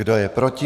Kdo je proti?